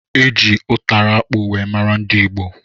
Eji ụtara akpụ wee mara ndị ìgbo